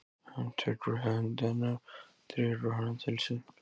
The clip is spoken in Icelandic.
Hann tekur í hönd hennar og dregur hana til sín.